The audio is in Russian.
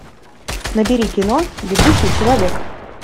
набери кино бегущий человек